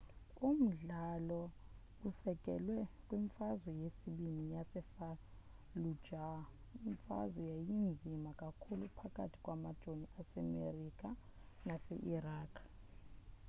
umdlalo usekelwe kwimfazwe yesibini yasefallujah imfazwe eyayinzima kakhulu phakathi kwamajoni asemerika nase-iraq